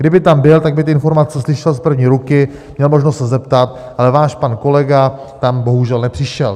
Kdyby tam byl, tak by ty informace slyšel z první ruky, měl možnost se zeptat, ale váš pan kolega tam bohužel nepřišel.